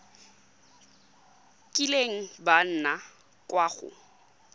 kileng ba nna kwa go